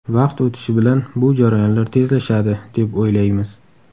Vaqt o‘tishi bilan bu jarayonlar tezlashadi, deb o‘ylaymiz.